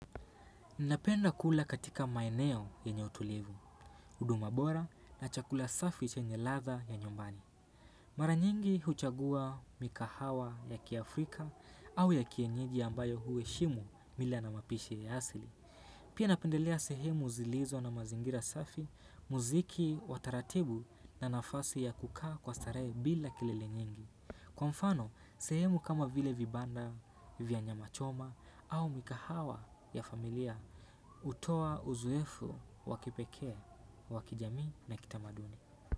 Napenda kula katika maeneo yenye utulivu, huduma bora na chakula safi chenye ladha ya nyumbani. Mara nyingi huchagua mikahawa ya kiafrika au ya kienyeji ambayo huheshimu mila na mapishi ya asili. Pia napendelea sehemu zilizo na mazingira safi, muziki wa taratibu na nafasi ya kukaa kwa starehe bila kilele nyingi. Kwa mfano, sehemu kama vile vibanda, vya nyama choma au mikahawa ya familia, hutoa uzoefu wakipekee, wa kijamii na kitamaduni.